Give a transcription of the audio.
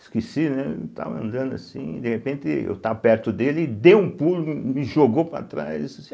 Esqueci, né, eu estava andando assim, de repente eu estava perto dele ele deu um pulo, me jogou para trás e disse assim